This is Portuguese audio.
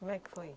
Como é que foi?